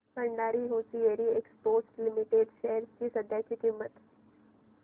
Bhandari hosiery exports limited shares ची सध्याची किंमत